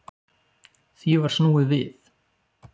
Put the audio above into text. Því var snúið við